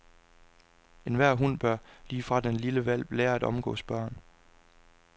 Enhver hund bør, lige fra den er lille hvalp, lære at omgås børn.